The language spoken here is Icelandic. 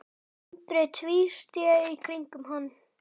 Andri tvísté í kringum hann.